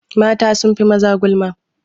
Mata sun fi maza gulma.